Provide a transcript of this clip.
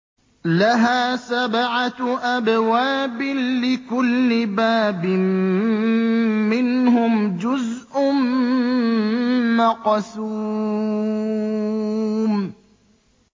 لَهَا سَبْعَةُ أَبْوَابٍ لِّكُلِّ بَابٍ مِّنْهُمْ جُزْءٌ مَّقْسُومٌ